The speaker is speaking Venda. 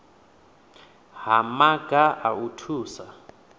ha maga a u thusa